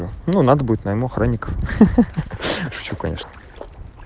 ну надо будет моим охранником